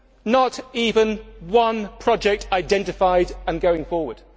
Not even one project identified and going forward.